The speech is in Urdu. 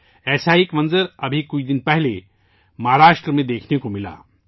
ایسا ہی ایک منظر کچھ دن پہلے مہاراشٹر میں بھی دیکھنے کو ملا